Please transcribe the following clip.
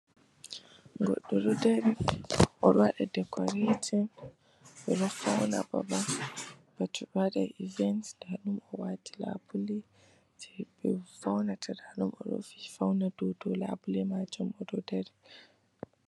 Goɗɗo ɗo dar o ɗo waɗa dekoreetin, ɓe ɗo fawna babal ba to ɓe waɗan ivent. Ndaaɗum o waati laabule jey ɓe fawnata. Ndaa ɗum o ɗon fawna dow too laabuleeji man o ɗo dari.